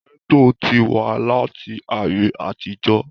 gẹ́tò ti wà láti ayé àtijọ́